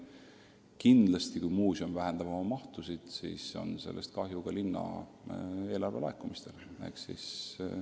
Kindlasti, kui muuseum oma tegevust vähendab, siis vähenevad ka linna eelarvelaekumised.